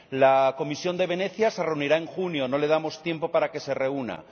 La Comisión de Venecia se reunirá en junio no le damos tiempo para que se reúna.